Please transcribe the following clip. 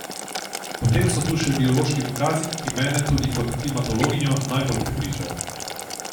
Potem so tu še biološki dokazi, ki mene tudi kot klimatologinjo najbolj prepričajo.